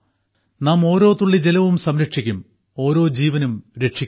നാം ഓരോ തുള്ളി ജലവും സംരക്ഷിക്കും ഓരോ ജീവനും രക്ഷിക്കും